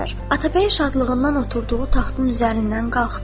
Atabəy şadlığından oturduğu taxtın üzərindən qalxdı.